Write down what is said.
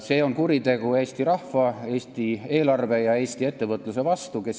See on kuritegu Eesti rahva, Eesti eelarve ja Eesti ettevõtluse vastu.